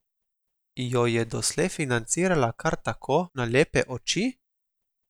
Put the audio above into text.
Jo je doslej financirala kar tako, na lepe oči?